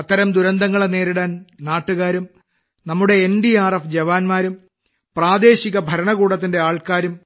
അത്തരം ദുരന്തങ്ങളെ നേരിടാൻ നാട്ടുകാരും നമ്മുടെ എൻഡിആർഎഫ് ജവാന്മാരും പ്രാദേശിക ഭരണകൂടത്തിന്റെ ആളുകളും